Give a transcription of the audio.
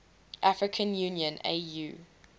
african union au